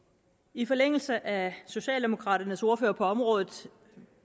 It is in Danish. i forlængelse af socialdemokraternes ordfører på området